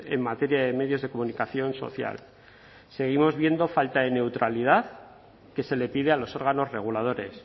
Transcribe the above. en materia de medios de comunicación social seguimos viendo falta de neutralidad que se le pide a los órganos reguladores